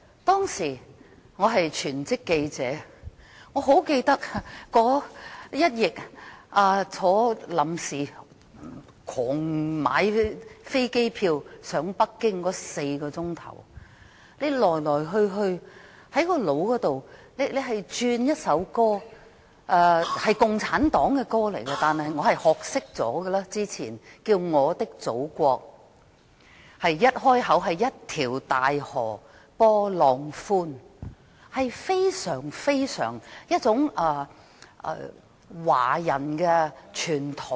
當時，我是全職記者，清楚記得這一役，在倉促購買機票飛往北京的4小時內，腦海裏只有一首我早前學會唱的共產黨的歌，叫"我的祖國"，歌詞的首句是，"一條大河波浪寬"，非常有華人傳統。